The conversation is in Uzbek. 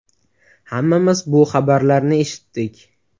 Hammamiz bu xabarlarni eshitdik.